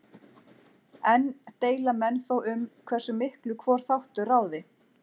Enn deila menn þó um hversu miklu hvor þáttur ráði.